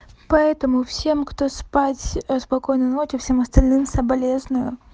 поэтому всем кто спать спокойной ночи всем остальным соболезную